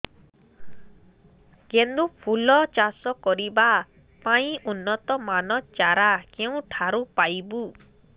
ଗେଣ୍ଡୁ ଫୁଲ ଚାଷ କରିବା ପାଇଁ ଉନ୍ନତ ମାନର ଚାରା କେଉଁଠାରୁ ପାଇବୁ